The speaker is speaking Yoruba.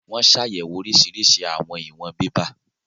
Wọ́n ṣàyẹ̀wò oríṣiríṣi àwọn ìwọn bébà